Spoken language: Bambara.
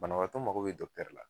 Banabatɔ mago be dɔkutɛri la